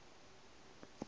le ge di ka se